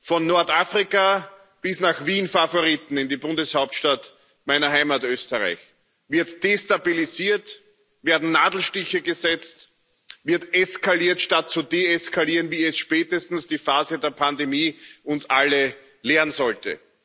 Von Nordafrika bis nach Wien Favoriten, in die Bundeshauptstadt meiner Heimat Österreich, wird destabilisiert, werden Nadelstiche gesetzt, wird eskaliert, statt zu deeskalieren, wie es spätestens die Phase der Pandemie uns alle lehren sollte.